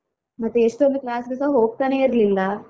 ಮತ್ತೆ ಎಷ್ಟೊಂದು class ಗೆಸ ಹೋಗ್ತಾನೆ ಇರ್ಲಿಲ್ಲ.